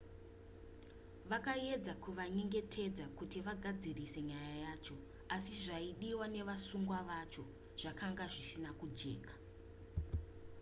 vakaedza kuvanyengetedza kuti vagadzirise nyaya yacho asi zvaidiwa nevasungwa vacho zvakanga zvisina kujeka